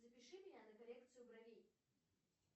запиши меня на коррекцию бровей